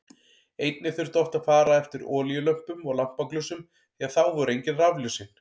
Einnig þurfti oft að fara eftir olíulömpum og lampaglösum því að þá voru engin rafljósin.